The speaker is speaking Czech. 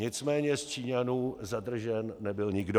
Nicméně z Číňanů zadržen nebyl nikdo.